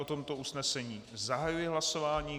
O tomto usnesení zahajuji hlasování.